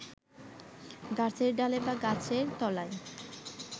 গাছের ডালে বা গাছের তলায়